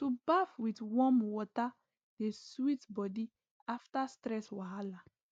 to baff with warm water dey sweet body after stress wahala